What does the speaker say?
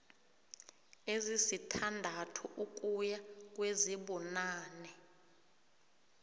ezisithandathu ukuya kwezibunane